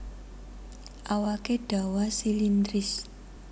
Awaké dawa silindris